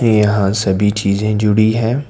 यहां सभी चीज़ें जुड़ी है।